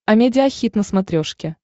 амедиа хит на смотрешке